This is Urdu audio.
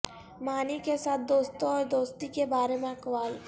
معنی کے ساتھ دوستوں اور دوستی کے بارے میں اقوال